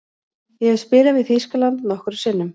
Ég hef spilað við Þýskaland nokkrum sinnum.